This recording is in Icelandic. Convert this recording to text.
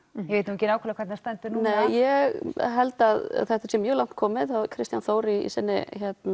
ég veit nú ekki nákvæmlega hvernig það stendur núna ég held að þetta sé mjög langt komið Kristján Þór í sinni